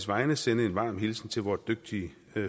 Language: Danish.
vegne sende en varm hilsen til vort dygtige